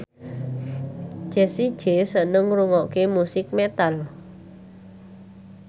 Jessie J seneng ngrungokne musik metal